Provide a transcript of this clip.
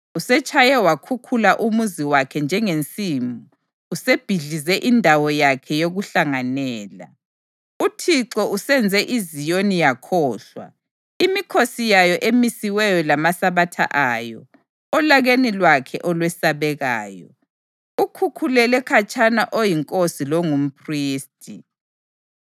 Usetshaye wakhukhula umuzi wakhe njengensimu; usebhidlize indawo yakhe yokuhlanganela. UThixo usenze iZiyoni yakhohlwa imikhosi yayo emisiweyo lamaSabatha ayo; olakeni lwakhe olwesabekayo, ukhukhulele khatshana oyinkosi longumphristi.